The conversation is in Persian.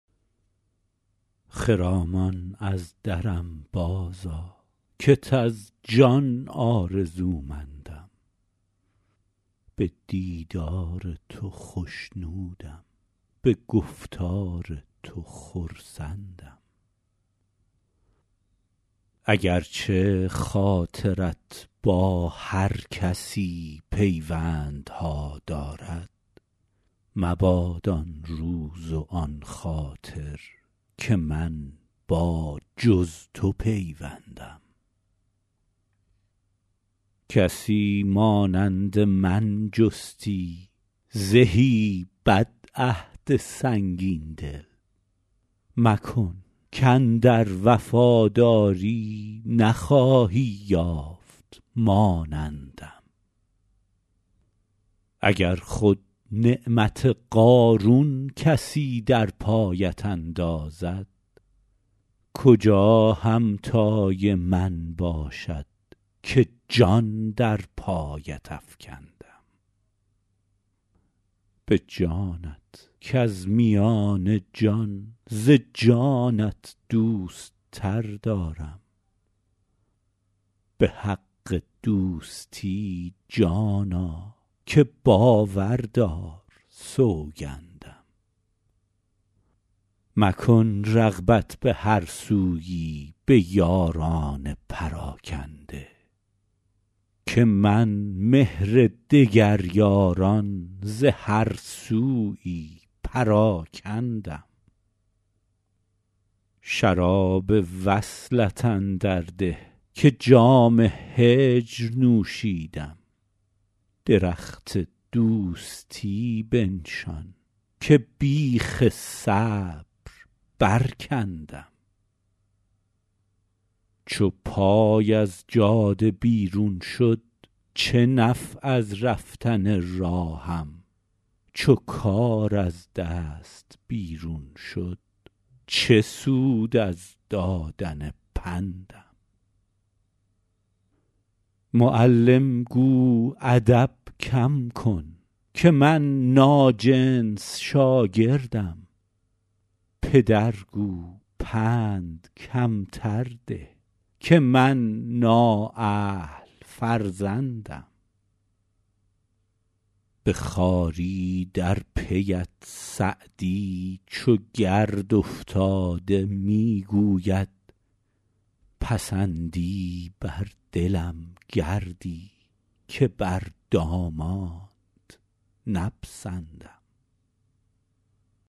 خرامان از درم بازآ کت از جان آرزومندم به دیدار تو خوشنودم به گفتار تو خرسندم اگر چه خاطرت با هر کسی پیوندها دارد مباد آن روز و آن خاطر که من با جز تو پیوندم کسی مانند من جستی زهی بدعهد سنگین دل مکن کاندر وفاداری نخواهی یافت مانندم اگر خود نعمت قارون کسی در پایت اندازد کجا همتای من باشد که جان در پایت افکندم به جانت کز میان جان ز جانت دوست تر دارم به حق دوستی جانا که باور دار سوگندم مکن رغبت به هر سویی به یاران پراکنده که من مهر دگر یاران ز هر سویی پراکندم شراب وصلت اندر ده که جام هجر نوشیدم درخت دوستی بنشان که بیخ صبر برکندم چو پای از جاده بیرون شد چه نفع از رفتن راهم چو کار از دست بیرون شد چه سود از دادن پندم معلم گو ادب کم کن که من ناجنس شاگردم پدر گو پند کمتر ده که من نااهل فرزندم به خواری در پی ات سعدی چو گرد افتاده می گوید پسندی بر دلم گردی که بر دامانت نپسندم